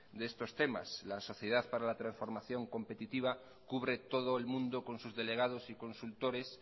de estos temas la sociedad para la transformación competitiva cubre todo el mundo con sus delegados y consultores